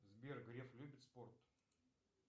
сбер греф любит спорт